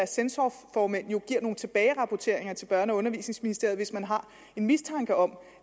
censorformænd giver nogle tilbagerapporteringer til børne og undervisningsministeriet hvis man har en mistanke om